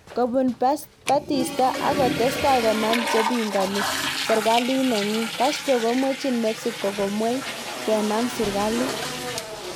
Kobun Batista ak kotestai konam chepingani sirkalit nenyi, Castro komweji Mexico gomwei kenam sirkalit.